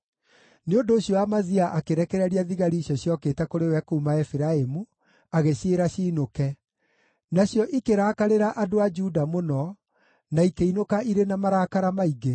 Nĩ ũndũ ũcio Amazia akĩrekereria thigari icio ciokĩte kũrĩ we kuuma Efiraimu, agĩciĩra ciinũke. Nacio ikĩrakarĩra andũ a Juda mũno, na ikĩinũka irĩ na marakara maingĩ.